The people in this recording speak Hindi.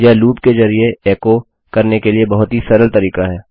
यह लूप के जरिये एको करने के लिए बहुत ही सरल तरीका है